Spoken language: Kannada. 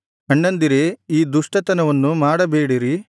ಅಣ್ಣಂದಿರೇ ಈ ದುಷ್ಟತನವನ್ನು ಮಾಡಬೇಡಿರಿ